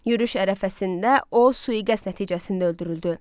Yürüş ərəfəsində o sui-qəsd nəticəsində öldürüldü.